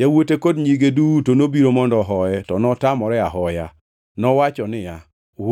Yawuote kod nyige duto nobiro mondo ohoye, to notamore ahoya. Nowacho niya,